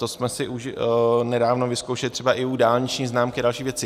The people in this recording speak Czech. To jsme si už nedávno vyzkoušeli třeba i u dálniční známky a dalších věcí.